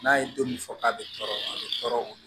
N'a ye don min fɔ k'a bɛ tɔɔrɔ a bɛ tɔɔrɔ